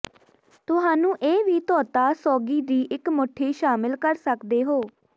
ਤੁਹਾਨੂੰ ਇਹ ਵੀ ਧੋਤਾ ਸੌਗੀ ਦੀ ਇੱਕ ਮੁੱਠੀ ਸ਼ਾਮਿਲ ਕਰ ਸਕਦੇ ਹੋ